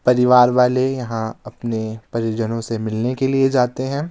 परिवार वाले यहां अपने परिजनों से मिलने के लिए जाते हैं।